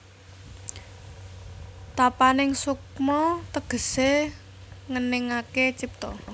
Tapaning sukma tegesé ngeningaké cipta